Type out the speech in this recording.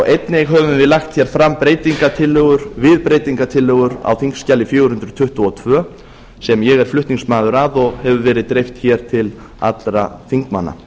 einnig höfum við lagt hér fram breytingartillögur við breytingartillögur á þingskjali fjögur hundruð tuttugu og tvö sem ég er flutningsmaður að og hefur verið beitt hér til allra þingmanna